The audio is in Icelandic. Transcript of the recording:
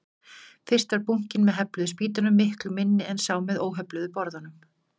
Fyrst var bunkinn með hefluðu spýtunum miklu minni en sá með óhefluðu borðunum.